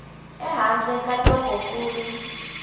ehandle ka loko ku ri